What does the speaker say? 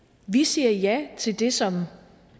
vi siger ja til det som